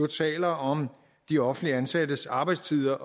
taler om de offentligt ansattes arbejdstider